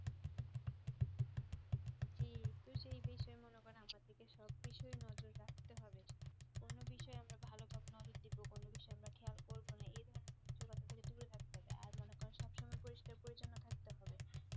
জি তো সেই বিষয় মনে করেন আমাদেরকে সব বিষয় নজোর রাখতে হবে কোনো বিষয় আমরা ভালোভাবে নজর দিবো কোনো বিষয় খেয়াল করবো না এধরণের দূরে থাকতে হবে আর মনে করেন সব সময় পরিষ্কার পরিছন্ন থাকতে হবে